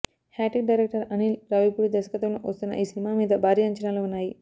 hat trick director Anil Ravipudi దర్శకత్వంలో వస్తున్న ఈ సినిమా మీద భారీ అంచనాలు ఉన్నాయి